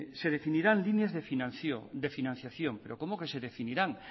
se definirán líneas de financiación pero cómo que se definirán